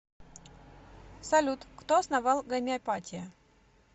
салют кто основал гомеопатия